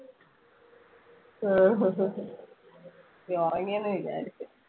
നീ ഉറങ്ങിയെന്ന് വിചാരിച്ചു.